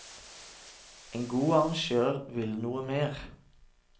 En god arrangør vil noe mer.